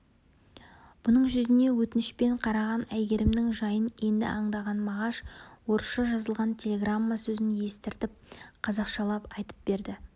бұның жүзіне өтінішпен қараған әйгерімнің жайын енді аңдаған мағаш орысша жазылған телеграмма сөзін естіртіп қазақшалап айтып берді